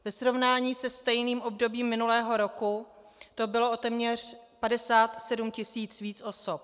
Ve srovnání se stejným obdobím minulého roku to bylo o téměř 57 tisíc víc osob.